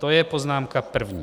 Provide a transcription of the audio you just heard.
To je poznámka první.